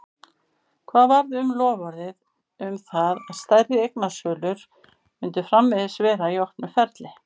Hvað varð um loforðið um það að stærri eignasölur myndu framvegis vera í opnu ferli?